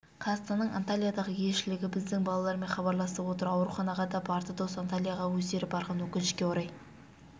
қазақстанның антальядағы елшілігі біздің балалармен хабарласып отыр ауруханаға да барды дос антальяға өздері барған өкінішке орай